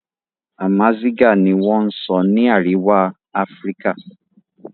Amazigah ni wọ́n sọ ni Àríwá Áfíríkà